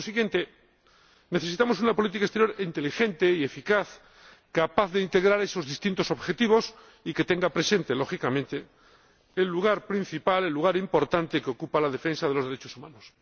Por consiguiente, necesitamos una política exterior inteligente y eficaz, capaz de integrar esos distintos objetivos y que tenga presente, lógicamente, el lugar principal, el lugar importante que ocupa la defensa de los derechos humanos.